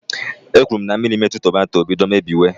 E kwuru na mmiri metụ tomato, o bido mebiwe.